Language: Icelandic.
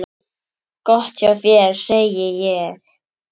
Gott hjá þér, segi ég.